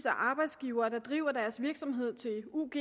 arbejdsgivere der driver deres virksomhed til ug